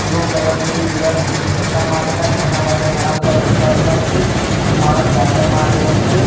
Blue colour ની દિવાલ પતરા મારેલા છે એના પાછળ ઘણા બધા વૃક્ષો આવેલા છે એક માણસ ગાર્ડન માં આવેલો છે.